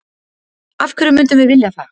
Af hverju myndum við vilja það?